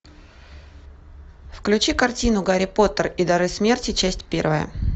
включи картину гарри поттер и дары смерти часть первая